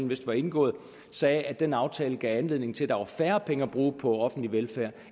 vist var indgået sagde at den aftale gav anledning til at der var færre penge at bruge på offentlig velfærd